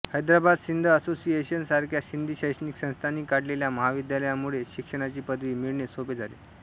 Hyderabad Sindh association सारख्या सिंधी शैक्षणिक संस्थांनी काढलेल्या महाविद्यालयां मुळे शिक्षणाची पदवी मिळणे सोपे झाले